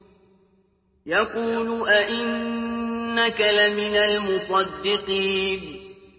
يَقُولُ أَإِنَّكَ لَمِنَ الْمُصَدِّقِينَ